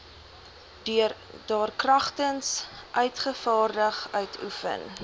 daarkragtens uitgevaardig uitoefen